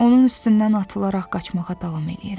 Onun üstündən atılaraq qaçmağa davam eləyirəm.